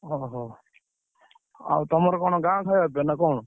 ଅ ହଉ, ଆଉ ତମର କଣ ଗାଁ ଖାୟା ପିୟା ନା କଣ?